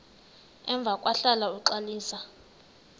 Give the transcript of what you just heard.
emva kwahlala uxalisa